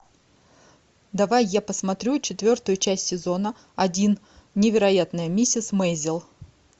давай я посмотрю четвертую часть сезона один невероятная миссис мейзел